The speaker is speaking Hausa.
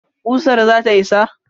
ƙusar zata isa?